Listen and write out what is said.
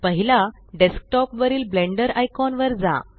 पहिला डेस्कटॉप वरील Blender icon वर जा